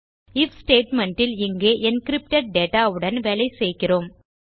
if statement இல் இங்கே encrypted data உடன் வேலை செய்கிறோம்